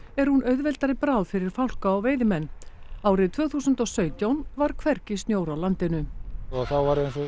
er hún auðveldari bráð fyrir fálka og veiðimenn árið tvö þúsund og sautján var hvergi snjór á landinu og þá